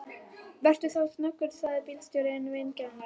Vertu þá snöggur, sagði bílstjórinn vingjarnlega.